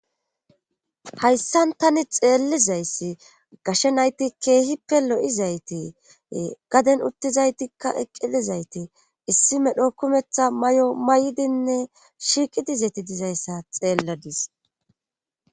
Hayssan tani xeellizayssi gashe nayti keehi pe lo7izayte gaden uttizaytikka eqqilizayte issi medho kumetha may7o may7dinne shiiqi dizeti dizayssa xeelladis